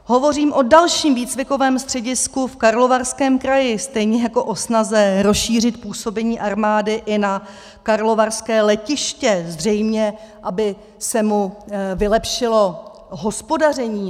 Hovořím o dalším výcvikovém středisku v Karlovarském kraji, stejně jako o snaze rozšířit působení armády i na karlovarské letiště, zřejmě aby se mu vylepšilo hospodaření.